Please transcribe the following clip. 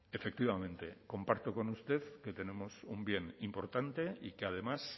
efectivamente comparto con usted que tenemos un bien importante y que además